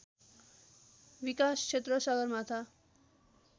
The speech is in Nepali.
विकाश क्षेत्र सगरमाथा